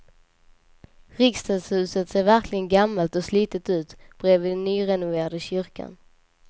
Riksdagshuset ser verkligen gammalt och slitet ut bredvid den nyrenoverade kyrkan.